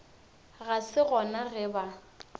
ga se gona ge ba